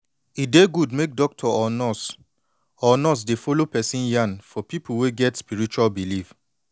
e dey good make doctor or nurse or nurse dey follow person yan for people wey get spiritual believe